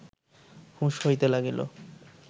হুঁশ হইতে লাগিল